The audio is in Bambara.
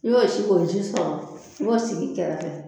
N'i y'o sin ko ji sɔrɔ i b'o sigi kɛrɛfɛ